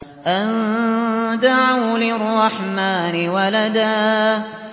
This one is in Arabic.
أَن دَعَوْا لِلرَّحْمَٰنِ وَلَدًا